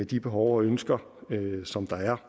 de behov og ønsker som der er